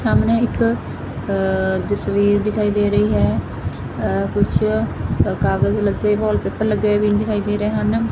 ਸਾਹਮਣੇ ਇੱਕ ਆ ਤਸਵੀਰ ਦਿਖਾਈ ਦੇ ਰਹੀ ਹੈ ਅ ਕੁੱਛ ਕਾਗਜ ਲੱਗੇ ਵਾਲਪੇਪਰ ਲੱਗੇ ਹੋਏ ਵੀ ਦਿਖਾਈ ਦੇ ਰਹੇ ਹਨ।